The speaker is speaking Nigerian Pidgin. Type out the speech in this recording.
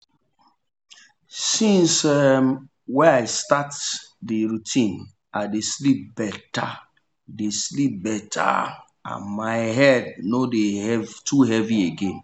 since um i start the routine i dey sleep better dey sleep better and my head no dey too heavy again.